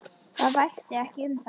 Það væsti ekki um þær.